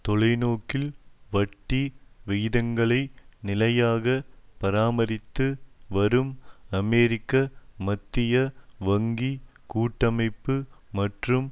தொலைநோக்கில் வட்டி விகிதங்களை நிலையாக பராமரித்து வரும் அமெரிக்க மத்திய வங்கி கூட்டமைப்பு மற்றும்